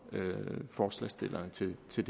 forslagsstillerne til til